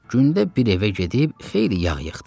Gündə bir evə gedib xeyli yağ yığdı.